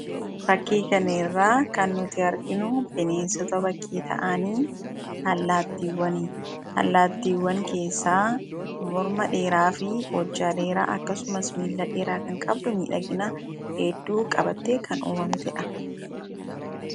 Faakkii kana irra kan nuti arginuu bineensoota bakkee ta'aaniin haalatiwwaani. Haalattiwwaan keessaa mormaa dheeraa, hojaa dheeraafi aakksumaas milaa dheeraa kan qabduu midhaginaa heduu qabate kan uumamteedha.